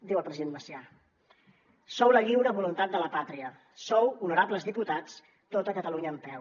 diu el president macià sou la lliure voluntat de la pàtria sou honorables diputats tota catalunya en peu